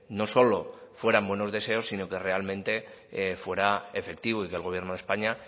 no solo fueran buenos deseos sino que realmente fuera efectivo y que el gobierno de españa